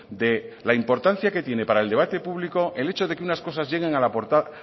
de la importancia que tiene para el debate público el hecho de que unas cosas lleguen